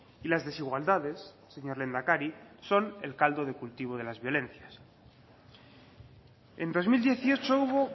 y las desigualdades señor lehendakari son el caldo de cultivo de las violencias en dos mil dieciocho hubo